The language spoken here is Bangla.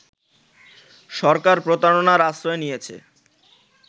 সরকার প্রতারণার আশ্রয় নিয়েছে